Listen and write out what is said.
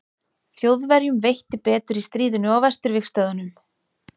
þjóðverjum veitti betur í stríðinu á vesturvígstöðvunum